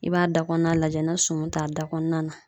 I b'a da kɔnɔna lajɛ na sɔmi t'a da kɔnɔna na.